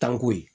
Tanko ye